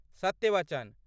सत्य वचन।